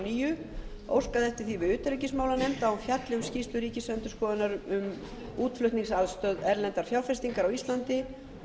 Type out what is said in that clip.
níu óskað eftir því við utanríkismálanefnd að hún fjalli um skýrslu ríkisendurskoðunar um útflutningsaðstoð erlendrar fjárfestingar á íslandi og